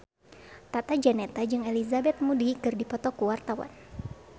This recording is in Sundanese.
Tata Janeta jeung Elizabeth Moody keur dipoto ku wartawan